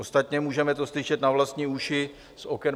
Ostatně můžeme to slyšet na vlastní uši z oken